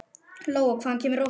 Lóa: Hvaðan kemur rósin?